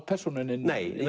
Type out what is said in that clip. persónunni er